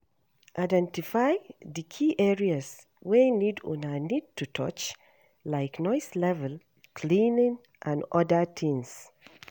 Identify di key areas wey need una need to touch, like noise level, cleaning and oda things